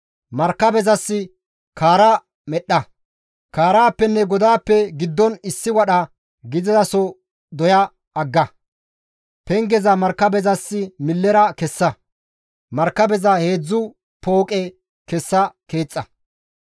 Markabezas kaara medhdha; kaaraappenne godaappe giddon issi wadha gidizaso doya agga; pengeza markabezas millera kessa; markabeza heedzdzu pooqe kessa keexxa.